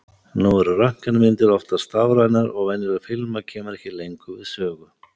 nú eru röntgenmyndir oftast stafrænar og venjuleg filma kemur ekki lengur við sögu